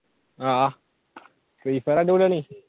ആഹ് free fire അടിപൊളിയാണ്